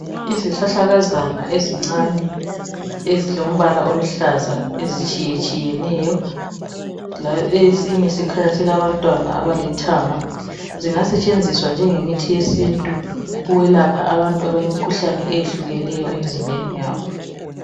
Izihlahlakazana ezincane. Ezilombala oluhlaza. Ezitshiyetshiyeneyo. Esinye sikhanya silabantwaba abalithanga..Singasetshenziswa njengemithi yesintu. Ukwelapha abantu abalemkhuhlane eyehlukeneyo emzimbeni yabo.